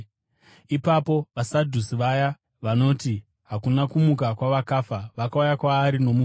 Ipapo vaSadhusi, vaya vanoti hakuna kumuka kwavakafa, vakauya kwaari nomubvunzo.